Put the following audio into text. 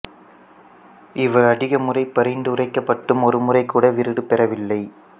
இவர் அதிக முறை பரிந்துரைக்கப்பட்டும் ஒரு முறை கூட விருது பெறவில்லை